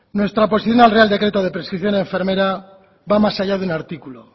nuestra posición al real decreto de prescripción enfermera va más allá de un artículo